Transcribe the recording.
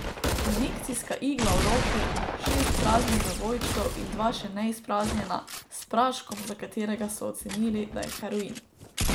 Injekcijska igla v roki, šest praznih zavojčkov in dva še neizpraznjena, s praškom, za katerega so ocenili, da je heroin.